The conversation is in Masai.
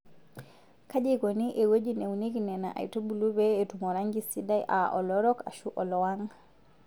Kaji eikoni ewueji neunieki Nena aitubulu pee etum oranki sidai aa olorok ashuu olowang'.